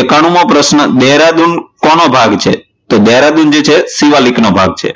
એક્કાનું મો પ્રશ્ન દહેરાદૂન કોનો ભાગ છે? દહેરાદૂન જે છે એ શિવાલિક નો ભાગ છે.